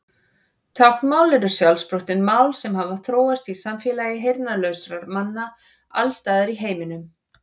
Táknmál eru sjálfsprottin mál sem hafa þróast í samfélagi heyrnarlausra manna alls staðar í heiminum.